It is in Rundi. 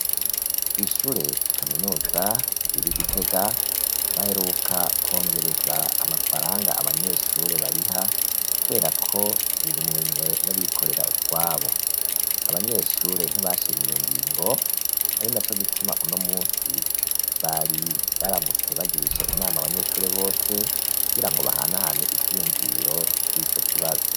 Kw'ishure kaminuza riri Igitega baheruka kwongereza amafaranga abanyeshure bariha, kubera ko riri mu minwe y'abikorera utwabo, abanyeshure ntibashimye iyongingo, ari naco gituma uno munsi bari baramutse bagirisha inama abanyeshure bose kugirango bahanahane ivy'iyumviro kurico kibazo.